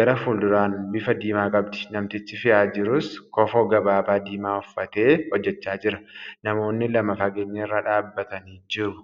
garaa fuulduraan bifa diimaa qabdi. Namtichi fe'aa jirus kofoo gabaabaa diimaa uffatee hojjachaa jira. Namoonni lama fageenya irra dhaabbataniiru.